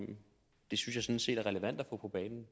det synes jeg sådan set er relevant at få på banen